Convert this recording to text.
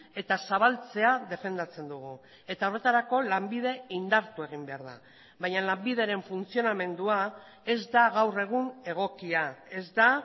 eta zabaltzea defendatzen dugu eta horretarako lanbide indartu egin behar da baina lanbideren funtzionamendua ez da gaur egun egokia ez da